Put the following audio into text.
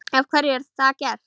Af hverju er það gert?